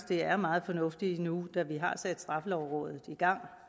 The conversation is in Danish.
det er meget fornuftigt nu da vi har sat straffelovrådet i gang